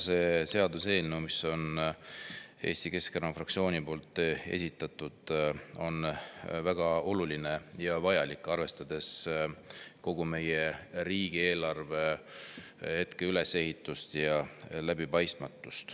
See seaduseelnõu, mille Eesti Keskerakond on esitanud, on meie riigieelarve ülesehitust ja läbipaistmatust arvestades kahtlemata väga oluline ja vajalik.